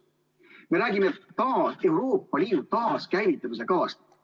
Me räägime Euroopa Liidu taaskäivitamise kavast.